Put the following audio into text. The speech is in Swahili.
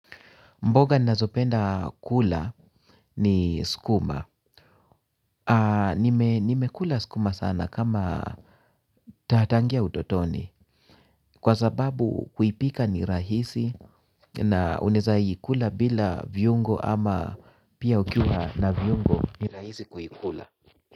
Mboga ninazopenda kula ni sukuma. Nimekula sukuma sana kama ta tangu utotoni. Kwa sababu kuipika ni rahisi na unaweza kula bila viungo ama pia ukiwa na viungo ni rahisi kuikula.